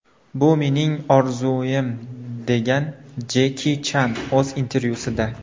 Bu mening orzuim” degan Jeki Chan o‘z intervyusida.